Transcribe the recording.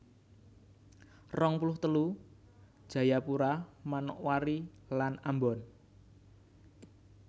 rong puluh telu Jayapura Manokwari lan Ambon